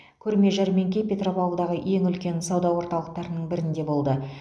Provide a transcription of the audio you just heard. көрме жәрмеңке петропавлдағы ең үлкен сауда орталықтарының бірінде болды